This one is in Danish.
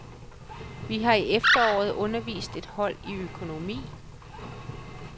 Vi har i efteråret undervist et hold i økonomi.